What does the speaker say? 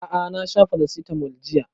A'a na sha paracetamol jiya